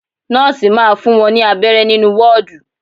Nọ́ọ̀si máa fún wọn ní abẹrẹ nínú wọ́ọ́dù.